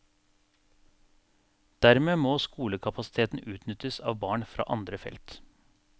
Dermed må skolekapasiteten utnyttes av barn fra andre felt.